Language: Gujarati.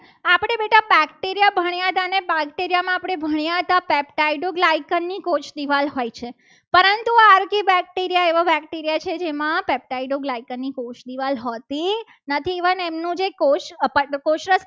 અને બેક્ટેરિયામાં આપણે ભણ્યા હતા. peptaido ગ્લાયકનની કોષદિવાલ હોય છે. પરંતુ આ આરકી બેક્ટેરિયા એવા બેક્ટેરિયા છે. જેમાં peptaid ની કોષદિવાલ હોતી નથી. પણ એમનું જે કોષ